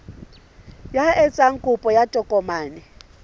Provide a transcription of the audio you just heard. ya etsang kopo ya tokomane